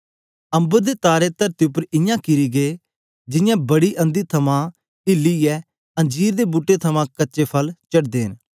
अम्बर दे तारे तरती उपर इयां किरी गै जियां बड़ी अंधी थमां इलिये अंजीर दे बूट्टे थमां कच्चे फल चढ़दे न